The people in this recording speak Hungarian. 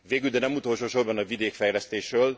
Végül, de nem utolsó sorban a vidékfejlesztésről.